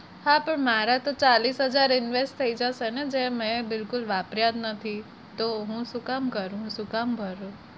હા તો મારા તો ચાલીસ હજાર invest જશે ને મેં બિલકુલ વાપર્યા નથી તો હું શું કામ કરું શું કામ ભરું?